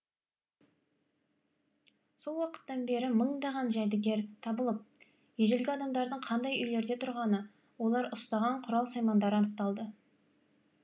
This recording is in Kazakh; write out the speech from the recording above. сол уақыттан бері мыңдаған жәдігер табылып ежелгі адамдардың қандай үйлерде тұрғаны олар ұстаған құрал саймандар анықталды